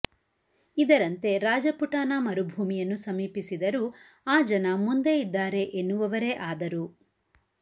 ಇದರಂತೆ ರಾಜಪುಟಾನ ಮರುಭೂಮಿಯನ್ನು ಸಮೀಪಿಸಿದರೂ ಆ ಜನ ಮುಂದೆ ಇದ್ದಾರೆ ಎನ್ನುವವರೇ ಆದರು